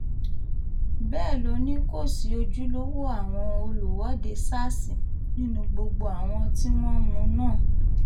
bẹ́ẹ̀ ló ní kò sí ojúlówó àwọn olùwọ́de sars nínú gbogbo àwọn tí wọ́n mú náà